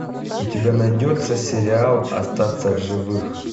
у тебя найдется сериал остаться в живых